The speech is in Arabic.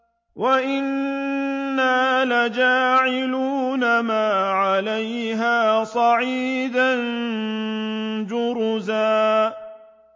وَإِنَّا لَجَاعِلُونَ مَا عَلَيْهَا صَعِيدًا جُرُزًا